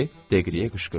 Deqliyə qışqırırdı.